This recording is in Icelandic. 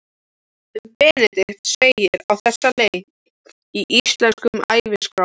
Um Benedikt segir á þessa leið í Íslenskum æviskrám